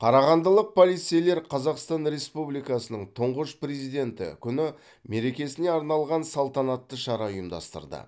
қарағандылық полицейлер қазақстан республикасының тұңғыш президенті күні мерекесіне арналған салтанатты шара ұйымдастырды